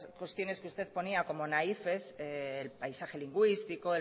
cuestiones que usted ponía como naifes el paisaje lingüístico